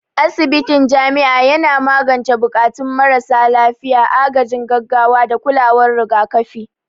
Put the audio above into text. Asibitin jami'a yana magance buƙatun marasa lafiya, agajin gaggawa, da kulawar rigakafi.